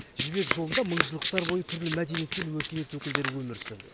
жібек жолында мыңжылдықтар бойы түрлі мәдениет пен өркениет өкілдері өмір сүрді